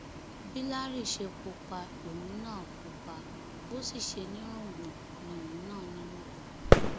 bí larry ṣe pupa lòun náà pupa bó sì ṣe nírùngbọn ni òun náà nírùngbọn